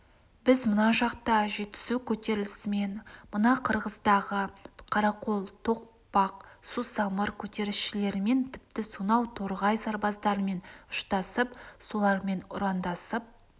біз мына жақта жетісу көтерілісімен мына қырғыздағы қарақол тоқпақ сусамыр көтерілісшілерімен тіпті сонау торғай сарбаздарымен ұштасып солармен ұрандасып